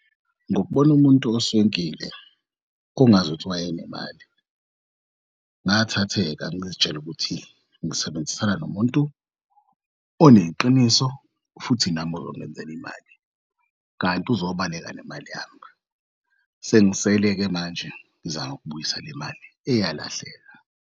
Ngokubona umuntu oswenkile kungazuthi wayenemali, ngathatheka ngizitshela ukuthi ngisebenzisana nomuntu oneqiniso futhi nami oyongenzel'mali kanti uzobaleka nemali yami. Sengisele-ke manje ngizakubuyisa le mali eyalahleka.